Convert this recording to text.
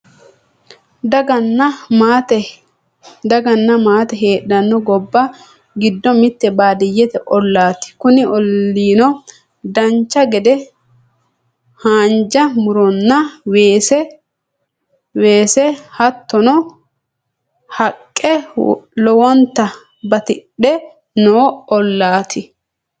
daganna maate heedhanno gobba giddo mitte baadiyyete ollaati kuni olliino dancha gede haanja muronna weese hattono haqqe lowonta batidhe noo ollaati